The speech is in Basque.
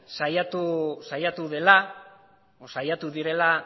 saiatu dela edo saiatu direla